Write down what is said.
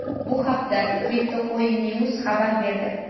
Bu haqda CryptocoinNews xabar berdi .